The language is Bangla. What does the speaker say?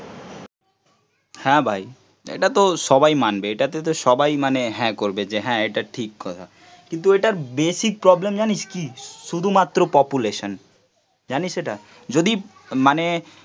হ্যাঁ ভাই, এটা তো সবাই মানবে, এটাতে তো সবাই মানে হ্যাঁ করবে যে হ্যাঁ, এটা ঠিক কথা, কিন্তু এটার বেসিক প্রবলেম জানিস কি? শুধুমাত্র পপুলেশন জানিস এটা? যদি মানে